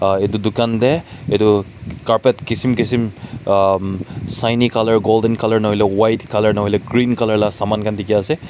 Ah etu dukan tey etu carpet keshem kesem ahum siny colour golden colour nahoile white colour nahoile le green colour la saman khan dekhi ase.